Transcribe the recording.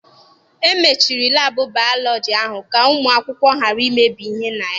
E mechiri laabụ bayọlọji ahụ ka ụmụ akwụkwọ ghara imebi ihe na ya.